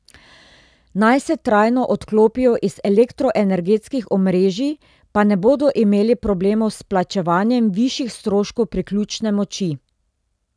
Naj se trajno odklopijo iz elektroenergetskih omrežij, pa ne bodo imeli problemov s plačevanjem višjih stroškov priključne moči.